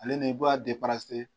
Ale ni i b'a